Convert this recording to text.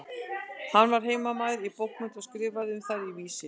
Hann var heimamaður í bókmenntum og skrifaði um þær í Vísi.